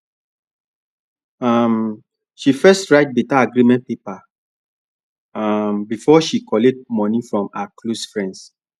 um she first write better agreement paper um before she collect money from her close friends